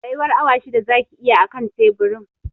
Tsayuwar awa shida zaki yi a kan teburin